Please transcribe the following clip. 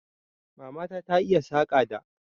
Mamana ta iya Saƙa da